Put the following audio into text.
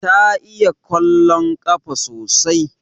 Ta iya kwallon kafa sosai